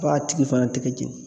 A b'a tigi fana tɛgɛ jeni.